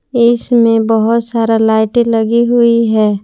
इसमें बहोत सारा लाइटे लगी हुई है।